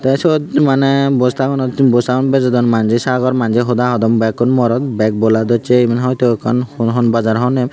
te sud maney bosta gunot bosta gun bejodon manje sagor manje Hoda hodon bekkun morot bek bola docche mane hoito ekkan hon bajar hobor nopem.